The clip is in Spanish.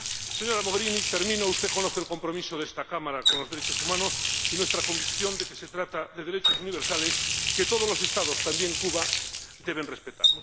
Señora Mogherini, usted conoce el compromiso de esta Cámara con los derechos humanos y nuestra convicción de que se trata de derechos universales que todos los Estados, también Cuba, deben respetar.